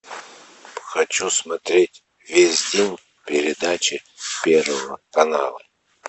хочу смотреть весь день передачи первого канала